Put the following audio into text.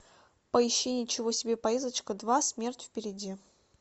поищи ничего себе поездочка два смерть впереди